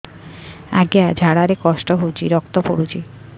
ଅଜ୍ଞା ଝାଡା ରେ କଷ୍ଟ ହଉଚି ରକ୍ତ ପଡୁଛି